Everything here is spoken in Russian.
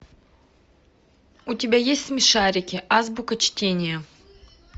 у тебя есть смешарики азбука чтения